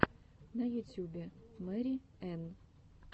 на ютюбе мэри энн